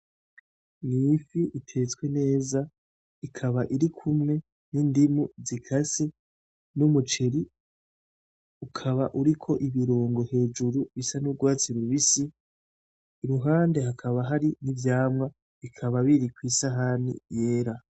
N'ifi itestwe neza ikaba irikumwe n'indimu zikase n'umuceri ukaba uriko ibiringo hejuru bisa n'urwatsi rubisi, iruhande hakaba n'ivyamwa bikaba biri kw'isahani yera.